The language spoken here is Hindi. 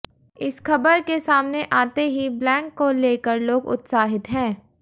इस खबर के सामने आते ही ब्लैंक को लेकर लोग उत्साहित है